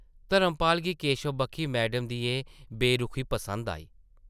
धर्मपाल गी केशव बक्खी मैडम दी एह् बेरुखी पसंद आई ।